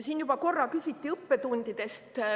Siin juba korra küsiti õppetundide kohta.